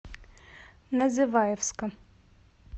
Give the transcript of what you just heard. называевска